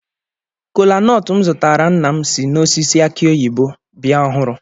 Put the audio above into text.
Kolanut m zụtara nna m si n'osisi aki oyibo bịa ọhụrụ.